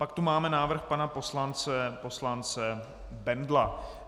Pak tu máme návrh pana poslance Bendla.